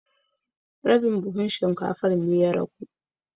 Shinkafa ta rage rabin buhu